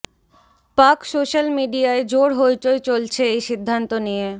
পাক সোশ্যাল মিডিয়ায় জোর হইচই চলছে এই সিদ্ধান্ত নিয়ে